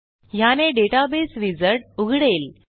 ह्याने database wizard उघडेल